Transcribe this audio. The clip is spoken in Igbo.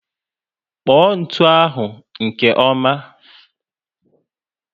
Kpọ ntụ ahụ nke ọma